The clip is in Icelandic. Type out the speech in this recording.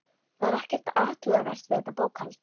Það er ekkert athugavert við þetta bókhald.